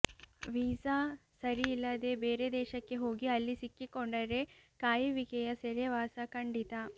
visa ಸರಿ ಇಲ್ಲದೇ ಬೇರೆ ದೇಶಕ್ಕೆ ಹೋಗಿ ಅಲ್ಲಿ ಸಿಕ್ಕಿಕೊಂಡರೆ ಕಾಯುವಿಕೆಯ ಸೆರೆವಾಸ ಖಂಡಿತ